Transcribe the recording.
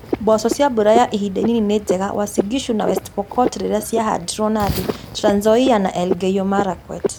Mboco cia mbura ya ihinda inini ninjega Uasin Gishu na West Pokot rĩrĩa cirahandwo Nandi, Trans Nzoia, na Elgeyo Marakwet